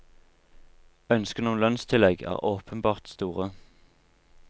Ønskene om lønnstillegg er åpenbart store.